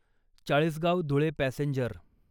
Chalisgaon Dhule passenger